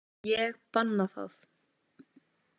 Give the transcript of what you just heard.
Ég banna það.